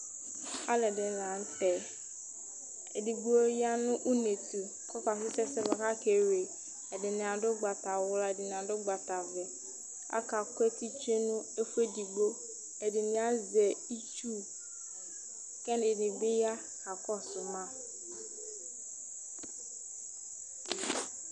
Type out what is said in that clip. Alʋɛdìní la ntɛ Ɛdigbo ya nʋ ʋne tu kʋ ɔkakɔsu ɛsɛ bʋakʋ akewle Ɛdiní adu ugbatawla Ɛdiní adu ugbatavɛ Aka ku eti tsʋe nʋ ɛfʋɛdigbo Ɛdiní azɛ itsu kʋ ɛdiní bi ya kakɔsu ma